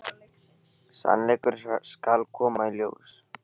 Sannleikurinn skal koma í ljós.